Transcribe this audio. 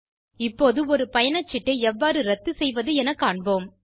இப்போது ஒரு பயணச்சீட்டை எவ்வாறு இரத்து செய்வது என காண்போம்